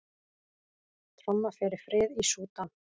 Tromma fyrir frið í Súdan